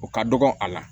O ka dɔgɔ a la